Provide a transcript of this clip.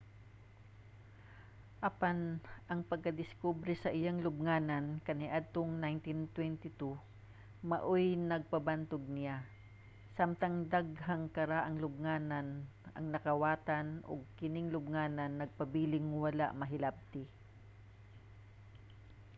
apan ang pagdiskubre sa iyang lubnganan kaniadtong 1922 maoy nagpabantog niya. samtang daghang karaang lubnganan ang nakawatan ang kining lubnganan nagpabiling wala mahilabti